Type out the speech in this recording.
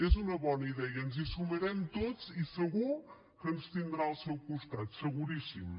és una bona idea ens hi sumarem tots i segur que ens tindrà al seu costat seguríssim